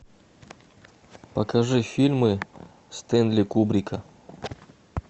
покажи фильмы стэнли кубрика